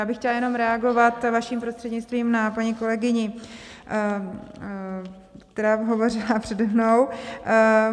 Já bych chtěla jenom reagovat vaším prostřednictvím na paní kolegyni, která hovořila přede mnou.